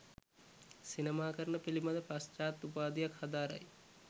සිනමාකරණය පිළිබඳ පශ්චාත් උපාධියක් හදාරයි.